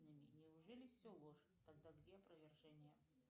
неужели все ложь тогда где опровержение